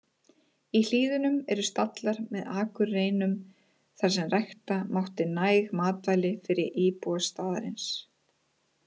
Í hlíðunum eru stallar með akurreinum þar sem rækta mátti næg matvæli fyrir íbúa staðarins.